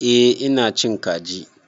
Eh ina cin kaji.